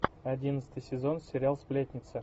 одиннадцатый сезон сериал сплетница